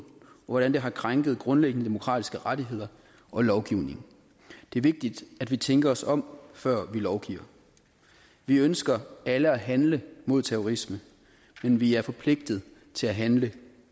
hvordan det har krænket grundlæggende demokratiske rettigheder og lovgivningen det er vigtigt at vi tænker os om før vi lovgiver vi ønsker alle at handle mod terrorisme men vi er forpligtet til at handle